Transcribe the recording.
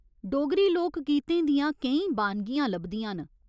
डोगरी लोक गीतें दियां केईं बानगियां लभदियां न।